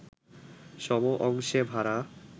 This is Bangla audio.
সম-অংশে ভাড়া